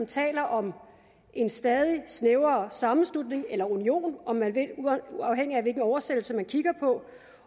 taler om en stadig snævrere sammenslutning eller union om man vil afhængigt af hvilken oversættelse man kigger på